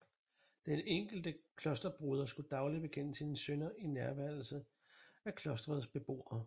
Den enkelte klosterbroder skulle dagligt bekende sine synder i nærværelse af klostrets beboere